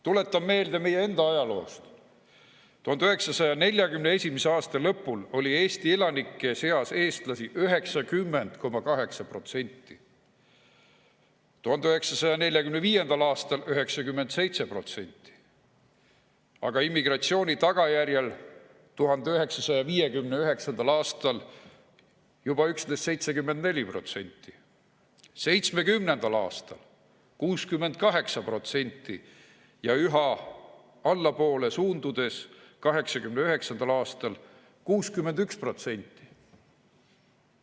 Tuletan meelde meie enda ajaloost: 1941. aasta lõpul oli Eesti elanike seas eestlasi 90,8%, 1945. aastal 97%, aga immigratsiooni tagajärjel 1959. aastal juba üksnes 74%, 1970. aastal 68% ja üha allapoole suundudes 1989. aastal 61%.